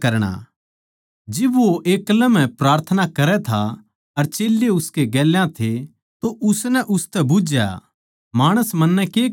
जिब वो एक्लै म्ह प्रार्थना करै था अर चेल्लें उसकै गेल्या थे तो उसनै उनतै बुझ्झया माणस मन्नै के कहवैं सै